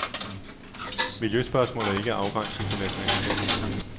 Miljøspørgsmålet er ikke afgrænset til nationalstaten.